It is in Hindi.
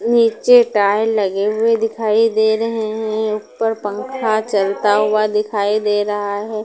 नीचे टाइल्स लगे हुएं दिखाई दे रहे हैं ऊपर पंखा चलता हुआ दिखाई दे रहा हैं।